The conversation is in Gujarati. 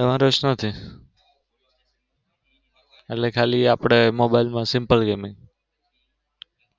એમાં રસ નથી. એટલે ખાલી આપડે મોબાઈલ માં simple gaming